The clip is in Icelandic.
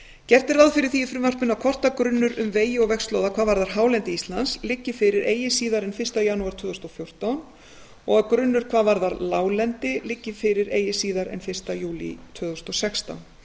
gert er ráð fyrir því í frumvarpinu að kortagrunnur um vegi og vegslóða hvað varðar hálendi íslands liggi fyrir eigi síðar en fyrsta janúar tvö þúsund og fjórtán og að grunnur hvað varðar láglendi liggi fyrir eigi síðar en fyrsta júlí tvö þúsund og sextán